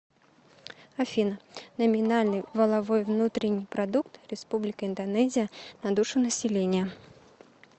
афина номинальный валовой внутренний продукт республика индонезия на душу населения